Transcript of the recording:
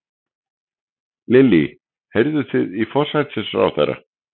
Lillý: Heyrðuð þið í forsætisráðherra?